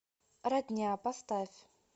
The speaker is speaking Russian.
родня поставь